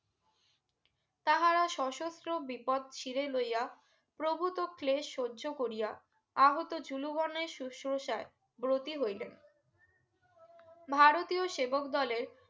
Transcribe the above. তাহারা সশস্ত্র বিপত চিরে লইয়া প্রভুত ক্লেস সহ্য করিয়া আহত যুলো বনের শুসোষায় ব্রতি হইলেন ভারতীয় সেবক দলের